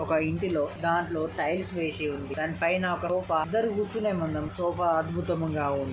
ఒక ఇంటిలో దారిలో టైల్స్ వేసి ఉంది దానిపైన అందరు కూర్చునే మందం సోఫా అద్భుతంగా